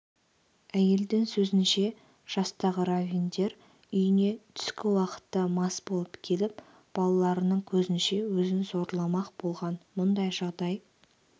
әйелдің сөзінше жастағыравиндер үйіне түскі уақытта мас болып келіп балаларының көзінше өзін зорламақ болған мұндай жағдай